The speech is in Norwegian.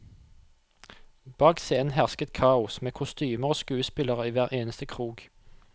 Bak scenen hersket kaos, med kostymer og skuespillere i hver eneste krok.